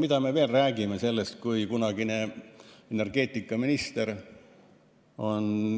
Mida me räägime, kui kunagine energeetikaminister